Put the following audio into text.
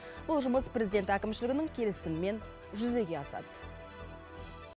бұл жұмыс президент әкімшілігінің келісімімен жүзеге асады